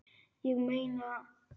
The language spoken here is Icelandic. Ég meina það!